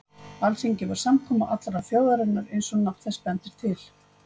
Alþingi var samkoma allrar þjóðarinnar eins og nafn þess bendir til.